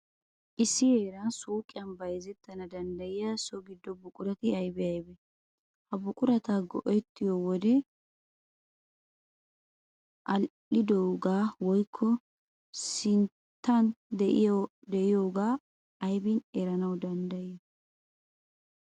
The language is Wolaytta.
Issi heeran suuqiyan bayzettana danddayiya so giddo buqurati aybee aybee? Ha buqurata go"ettiyo wodee aadhdhidoogaa woykko sinttan de'iyogaa aybin erana danddayettii?